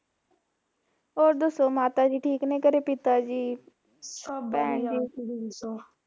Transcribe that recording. ਹੋਰ ਦੱਸੋ ਮਾਤਾ ਜੀ ਠੀਕ ਹੈ ਕਰੋ ਪਿਤਾ ਜੀ ਭੈਣ ਜੀ